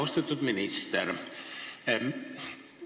Austatud minister!